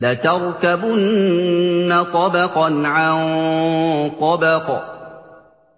لَتَرْكَبُنَّ طَبَقًا عَن طَبَقٍ